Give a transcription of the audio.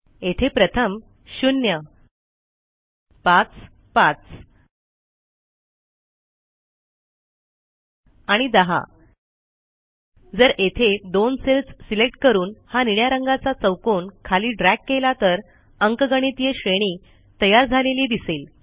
येथे प्रथम 0 5 5 आणि 10 जर येथे दोन सेल्स सिलेक्ट करून हा निळ्या रंगाचा चौकोन खाली ड्रॅग केला तर अंकगणितीय श्रेणी तयार झालेली दिसेल